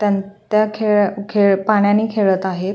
त्यान त्या खेळ खेळ पाण्याने खेळत आहेत.